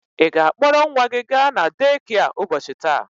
Ị ga-akpọrọ nwa gị ga na dekịa ụbọchị taa?